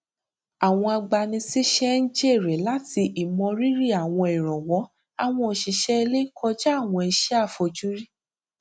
àwọn agbanisíṣẹ n jèrè láti ìmọ rírì àwọn ìrànwọ àwọn òṣìṣẹ ilé kọjá àwọn iṣẹ àfojúrí